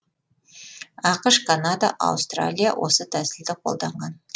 ақш канада аустралия осы тәсілді қолданған